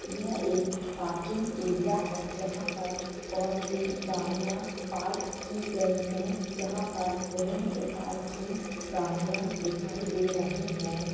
यह एक parking area है जहाँ पर बहुत सी गाड़ियाँ पार्क की गई हैं यहाँ पर विभिन्न प्रकार की गाड़ियाँ दिखाई दे रही हैं।